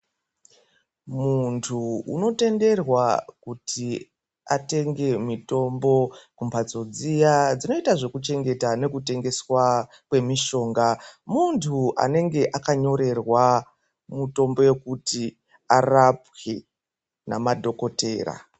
Muntu unotenderwa kuti atenge mitombo mumbatso dziya dzinoita zvekuchengetwa nekutengeswa kwemishonga muntu anenge akanyorerwa mutombo yekuti arapwe namadhokotera.